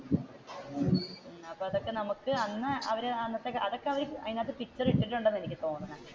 അപ്പൊ അതൊക്കെ നമുക്ക് അന്ന് അവർ